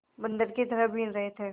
बंदर की तरह बीन रहे थे